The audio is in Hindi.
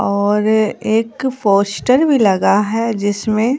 और एक पोस्टर भी लगा है जिसमें--